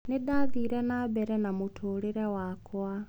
Nĩ ndathire na mbere na mũtũũrĩre wakwa.